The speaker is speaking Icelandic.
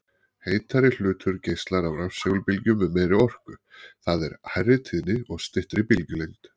Heitari hlutur geislar rafsegulbylgjum með meiri orku, það er hærri tíðni og styttri bylgjulengd.